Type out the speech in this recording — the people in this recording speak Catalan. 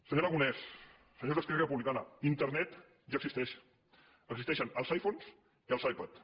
senyor aragonès senyors d’esquerra republicana internet ja existeix existeixen els iphones i els ipads